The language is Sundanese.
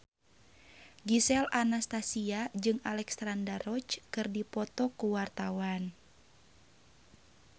Gisel Anastasia jeung Alexandra Roach keur dipoto ku wartawan